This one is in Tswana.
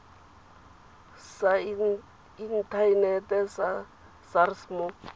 sa inthanete sa sars mo